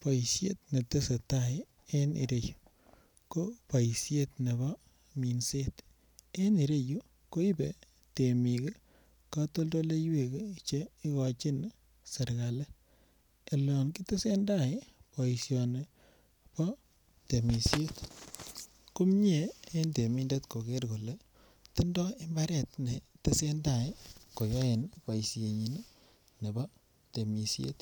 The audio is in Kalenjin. Boishet netesetai en ireyu ko boishet nebo minset en ireyu koibe temik ii kotoldoleywek che igochin serkali olon kitesen tai boisioni bo temisiet komie en temindet koger kolee tindo imbaret netesetai koyoen boishenyin nebo temisiet